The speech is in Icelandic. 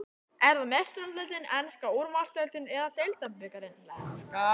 Er það Meistaradeildin, enska úrvalsdeildin eða deildarbikarinn?